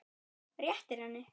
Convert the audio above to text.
Réttir henni.